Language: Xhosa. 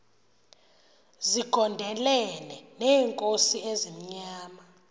zigondelene neenkosi ezimnyama